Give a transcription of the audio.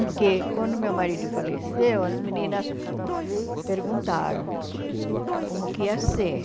Porque quando meu marido faleceu, as meninas perguntaram como que ia ser.